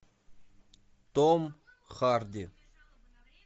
том харди